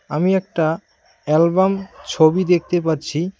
আমি একটা অ্যালবাম ছবি দেখতে পাচ্ছি।